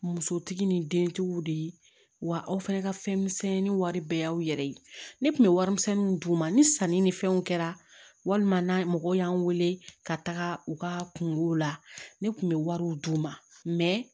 Musotigi ni dentigiw de ye wa aw fana ka fɛn misɛnnin wari bɛɛ y'aw yɛrɛ ye ne tun bɛ warimisɛnninw d'u ma ni sanni ni fɛnw kɛra walima mɔgɔw y'an wele ka taga u ka kungo la ne kun bɛ wariw d'u ma